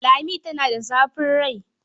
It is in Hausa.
Lami tana da zafin rai.